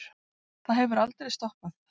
Það hefur aldrei stoppað